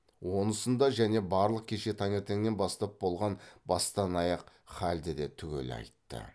онысын да және барлық кеше таңертеңнен бастап болған бастан аяқ халді де түгел айтты